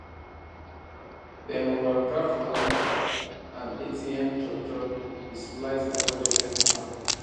dem overdraft wahala and atm chopchop dey slice my budget anyhow